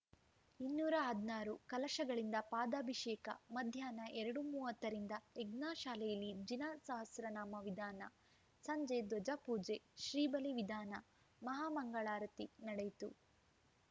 ಇನ್ನೂರ ಹದಿನಾರು ಕಲಶಗಳಿಂದ ಪಾದಾಭಿಷೇಕ ಮಧ್ಯಾಹ್ನ ಎರಡು ಮೂವತ್ತರಿಂದ ಯಜ್ಞಶಾಲೆಯಲ್ಲಿ ಜಿನ ಸಹಸ್ರನಾಮ ವಿಧಾನ ಸಂಜೆ ಧ್ವಜಪೂಜೆ ಶ್ರೀಬಲಿ ವಿಧಾನ ಮಹಾಮಂಗಳಾರತಿ ನಡೆಯಿತು